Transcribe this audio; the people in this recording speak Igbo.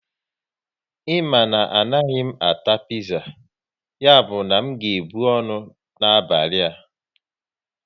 Ị ma na m anaghị ata piza, ya bụ na m ga ebu ọnụ n'abalị a